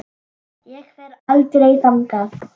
Ég fer aldrei þangað.